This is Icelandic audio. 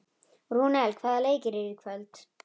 Rúnel, hvaða leikir eru í kvöld?